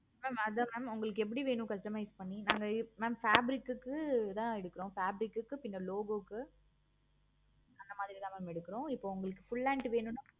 mam அத mam உங்களுக்கு எப்படி வேணும் customize பண்ணி நாங்க mam fabric க்கு தான் எடுக்கிறோம். fabric க்கு பின்ன logo க்கு அந்த மாதிரி தான் mam எடுக்கிறோம். இப்போ உங்களுக்கு full hand வேணும்னா